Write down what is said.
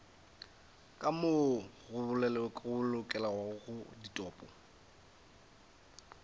ka moo go bolokelwago ditopo